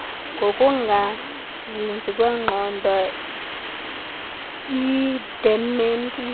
kokungazinzi kwengqondo idementia